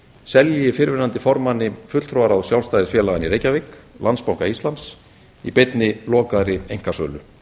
selji fyrrverandi formanni fulltrúaráðs sjálfstæðisfélaganna í reykjavík landsbanka íslands í beinni lokaðri einkasölu